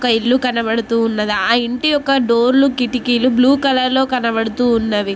ఒక ఇల్లు కనబడుతూ ఉన్నది ఆ ఇంటి ఒక డోర్ లు కిటికీలు బ్లూ కలర్ లో కనబడుతూ ఉన్నవి.